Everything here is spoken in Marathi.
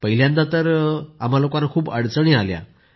पहिल्यांदा आम्हा लोकांना खूप अडचणी आल्या